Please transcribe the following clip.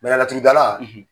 Bɛlɛ laturudala